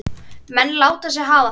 Menn láta sig hafa það.